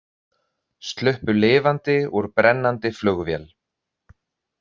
Sluppu lifandi úr brennandi flugvél